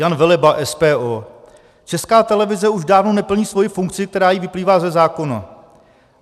Jan Veleba, SPO: Česká televize už dávno neplní svoji funkci, která jí vyplývá ze zákona.